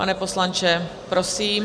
Pane poslanče, prosím.